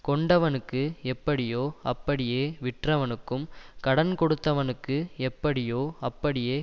கொண்டவனுக்கு எப்படியோ அப்படியே விற்றவனுக்கும் கடன் கொடுத்தவனுக்கு எப்படியோ அப்படியே